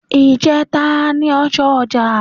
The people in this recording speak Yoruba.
Ìjẹta n ọjọ́ ọja.